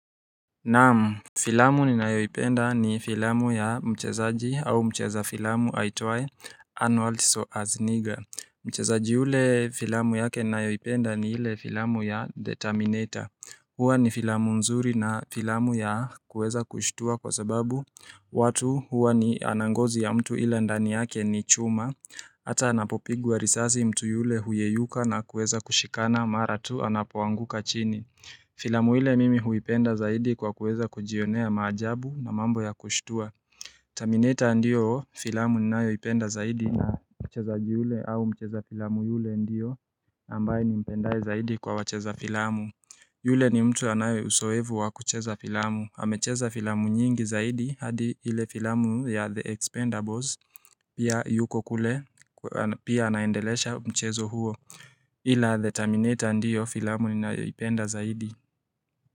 Naam Filamu ninayoipenda ni filamu ya mchezaji au mcheza filamu haitwae Arnold Suasniga Mchezaji yule filamu yake nayoipenda ni hile filamu ya The terminator hua ni filamu nzuri na filamu ya kuweza kushtua kwa sababu watu huwa ni ana ngozi ya mtu ila ndani yake ni chuma Hata anapopigwa risasi mtu yule huyeyuka na kuweza kushikana mara tu anapoanguka chini Filamu ile mimi huipenda zaidi kwa kuweza kujionea maajabu na mambo ya kushtua Terminator ndiyo filamu ninayoipenda zaidi na mchezaji ule au mcheza filamu yule ndiyo ambaye nimpendaye zaidi kwa wacheza filamu yule ni mtu anaye usoevu wa kucheza filamu, amecheza filamu nyingi zaidi hadi ile filamu ya The Expendables pia yuko kule pia anaendelesha mchezo huo Hila The Terminator ndiyo filamu ninayoipenda zaidi.